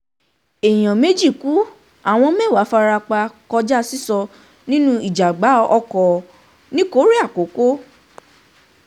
èèyàn méjì ku àwọn mẹ́wàá fara pa um kọjá sísọ nínú ìjàgbá ọkọ̀ um nìkórè àkókò